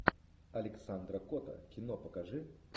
александра кота кино покажи